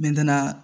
N bɛ taa naa